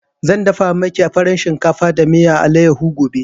Zan dafa maki farin shinkafa da miyan allayaho gobe